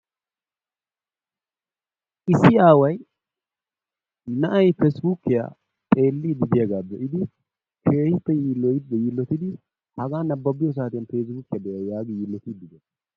Issi aaway na'ay peesbukkiya xeelidi diyaaga be'iddi, keehippe yillotidi hagaa nababiyo saattiyan peesibukkiyaa be'ay yaagi yillotidi dees.